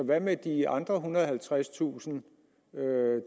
hvad med de andre ethundrede og halvtredstusind